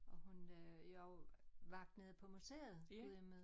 Og hun øh jeg også vagt nede på museet Gudhjemmet